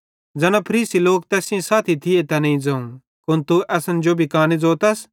ज़ैना फरीसी लोक तैस सेइं साथी थिये तैनेईं ज़ोवं कुन तू असन जो भी काने ज़ोतस